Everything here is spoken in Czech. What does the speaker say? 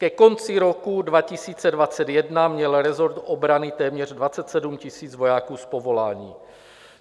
Ke konci roku 2021 měl resort obrany téměř 27 000 vojáků z povolání.